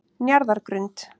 Njarðargrund